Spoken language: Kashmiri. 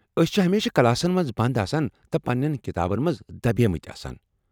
أسۍ چھ ہمیشہ، کلاسن منٛز بنٛد آسان تہٕ پنٛین کتابن منٛز دبیمٕتۍ آسان۔